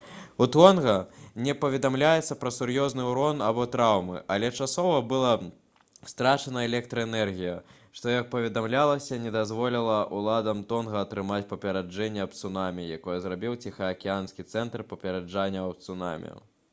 у тонга не паведамляецца пра сур'ёзны ўрон або траўмы але часова была страчана электраэнергія што як паведамлялася не дазволіла ўладам тонга атрымаць папярэджанне аб цунамі якое зрабіў ціхаакіянскі цэнтр папярэджанняў аб цунамі